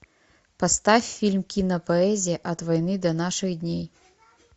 поставь фильм кинопоэзия от войны до наших дней